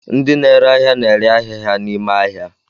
Ndi na-ere ahịa na-ere ahịa ha n'ime ahịa.